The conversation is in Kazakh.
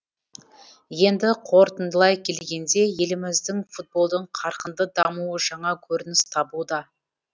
енді қорытындылай келгенде еліміздің футболдың қарқынды дамуы жаңа көрініс табуда